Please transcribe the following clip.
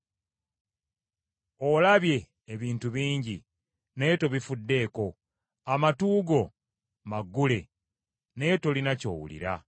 Olabye ebintu bingi naye tobifuddeko, amatu go maggule naye tolina ky’owulira.”